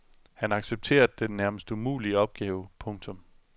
Han accepterer den nærmest umulige opgave. punktum